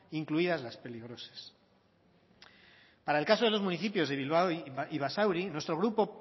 incluidas las peligrosas para el caso de los municipios de bilbao y basauri nuestro grupo